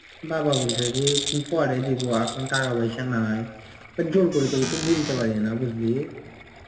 বাবা বলছে যে পরে দিবো এখন টাকা পয়সা নাই জোর করে তো কিছু বুঝতে পারি না বুঝলি.